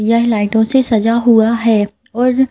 यह लाइटों से सजा हुआ है और--